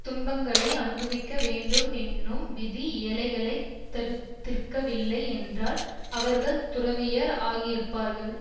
துன்பங்களை அனுபவிக்க வேண்டும் என்னும் விதி ஏழைகளைத் தடுத்திருக்கவில்லை என்றால் அவர்கள் துறவியர் ஆகியிருப்பார்கள்